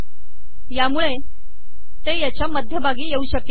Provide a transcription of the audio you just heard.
यामुळे ते याच्या मध्यभागी येऊ शकेल